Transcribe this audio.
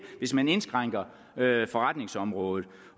hvis man indskrænker forretningsområdet